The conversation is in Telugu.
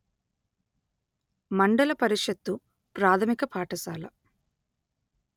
మండల పరిషత్తు ప్రాథమిక పాఠశాల